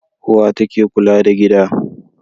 Uwa ta ke kula da gida.